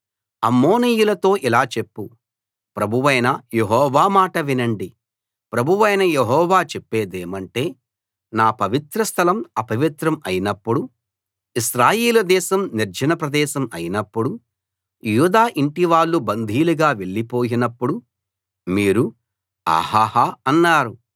అమ్మోనీయులతో ఇలా చెప్పు ప్రభువైన యెహోవా మాట వినండి ప్రభువైన యెహోవా చెప్పేదేమంటే నా పవిత్రస్థలం అపవిత్రం అయినప్పుడు ఇశ్రాయేలు దేశం నిర్జన ప్రదేశం అయినప్పుడు యూదా ఇంటివాళ్ళు బందీలుగా వెళ్ళిపోయినప్పుడు మీరు ఆహాహా అన్నారు